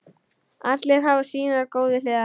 Allir hafa sínar góðu hliðar.